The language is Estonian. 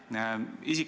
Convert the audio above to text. Hele Everaus, palun!